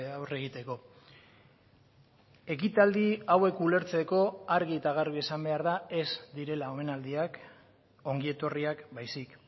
aurre egiteko ekitaldi hauek ulertzeko argi eta garbi esan behar da ez direla omenaldiak ongietorriak baizik